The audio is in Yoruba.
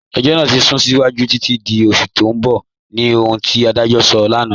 Ẹ̀jọ́ naa ti sún síwájú títi di oṣù tì n bọ̀ ni ohun ti adajọ́ sọ̀ lánà.